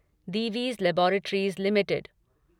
Divi's laboratories limited